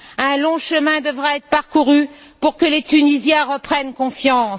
Un long chemin devra être parcouru pour que les Tunisiens reprennent confiance.